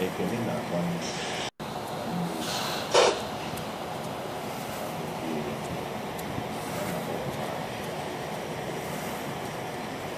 Ekene na-agba mgba na mmụọ ozi ma a gọzie ya, a na-agbanwekwa aha ya ka ọ bụrụ Izrel.